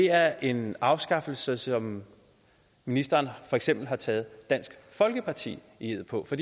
er en afskaffelse som ministeren for eksempel har taget dansk folkeparti i ed på for